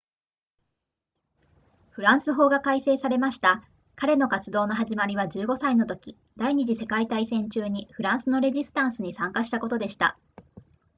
フランス法が改正されました彼の活動の始まりは15歳のとき第二次世界大戦中にフランスのレジスタンスに参加したことでした